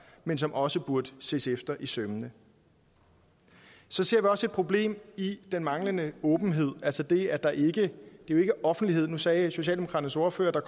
men som også burde ses efter i sømmene så ser vi også et problem i den manglende åbenhed altså det at der ikke er offentlighed nu sagde socialdemokraternes ordfører at